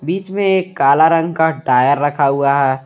इसमें एक काला रंग का टायर रखा हुआ है।